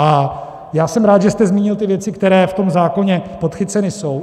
A já jsem rád, že jste zmínil ty věci, které v tom zákoně podchycené jsou.